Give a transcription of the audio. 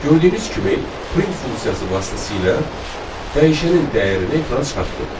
Gördüyünüz kimi, print funksiyası vasitəsilə dəyişənin dəyərini ekrana çıxartdıq.